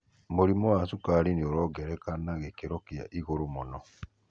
mũrĩmũ wa cukari nĩ ũrongereka na gĩkiro kĩa igũru mũno.